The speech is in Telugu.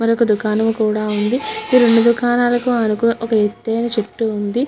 మర్యుక దుకాణము ఇక్కడ మను వక ప్రదేశము లో ఉనము. ఇక్కడ అటు ఏఇన చెట్టు ఏఇనది--